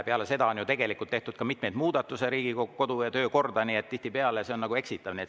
Peale seda on ju tegelikult tehtud Riigikogu kodu- ja töökorda mitmeid muudatusi, nii et tihtipeale see on nagu eksitav.